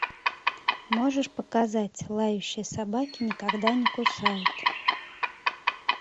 можешь показать лающие собаки никогда не кусают